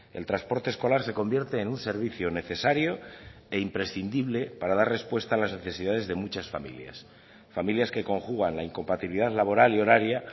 el transporte escolar se convierte en un servicio necesario e imprescindible para dar respuesta a las necesidades de muchas familias familias que conjugan la incompatibilidad laboral y horaria